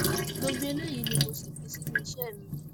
gbogbo eléyìí ni mo sì fi sínú iṣẹ mi